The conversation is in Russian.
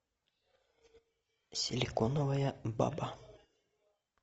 силиконовая баба